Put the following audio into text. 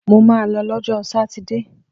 Mo ma lọ lọ́jọ́ sátidé!